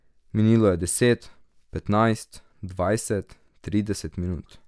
Minilo je deset, petnajst, dvajset, trideset minut.